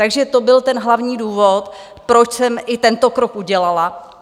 Takže to byl ten hlavní důvod, proč jsem i tento krok udělala.